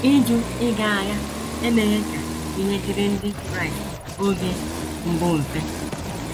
Ịjụ ịga agha emeghị ka ihe dịrị Ndị Kraịst oge mbụ mfe.